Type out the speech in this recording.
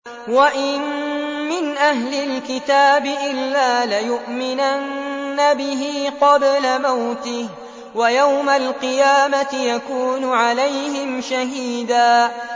وَإِن مِّنْ أَهْلِ الْكِتَابِ إِلَّا لَيُؤْمِنَنَّ بِهِ قَبْلَ مَوْتِهِ ۖ وَيَوْمَ الْقِيَامَةِ يَكُونُ عَلَيْهِمْ شَهِيدًا